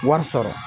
Wari sɔrɔ